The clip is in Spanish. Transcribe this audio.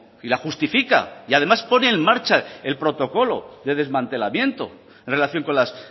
y la justifica y además pone en marcha el protocolo de desmantelamiento en relación con las